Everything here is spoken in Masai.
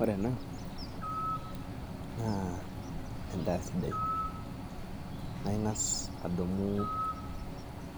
Ore ena naa endaa sidai naa ingas adumu